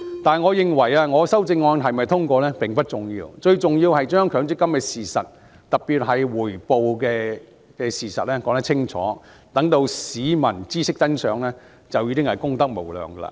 但我認為，我的修正案是否通過並不重要，最重要是將強積金的事實，特別是把回報率的事實說清楚，讓市民知悉真相，便已功德無量。